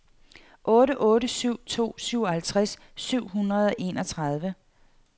otte otte syv to syvoghalvtreds syv hundrede og enogtredive